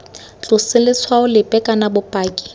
tlose letshwao lepe kana bopaki